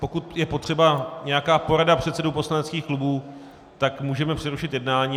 Pokud je potřeba nějaká porada předsedů poslaneckých klubů, tak můžeme přerušit jednání.